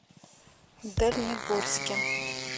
дальнегорске